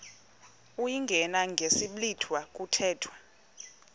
uyingene ngesiblwitha kuthethwa